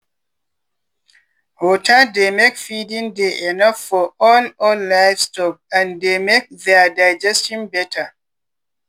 water dey make feeding dey enough for all all livestock and dey make their digestion better.